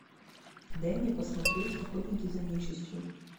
дай мне посмотреть охотники за нечистью